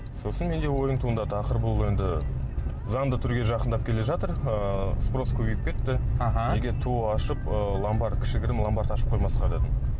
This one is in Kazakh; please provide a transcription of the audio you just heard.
сосын менде ойым туындады ақыры бұл енді заңды түрге жақындап келе жатыр ыыы спрос көбейіп кетті аха неге тоо ашып ыыы ломбард кішігірім ломбард ашып қоймасқа дедім